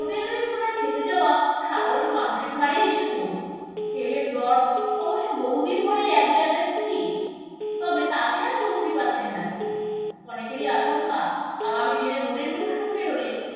আর খেটে যাওয়া সাধারণ মানুষের ঘাড়েই এসে পড়বে। তেলের দর অবশ্য বহুদিন ধরেই এক জায়গায় স্থির, তবে তাতে আর স্বস্তি পাচ্ছেন না কেউ। অনেকেরই আশঙ্কা, আগামী দিনে vote এর মরশুম পেরোলে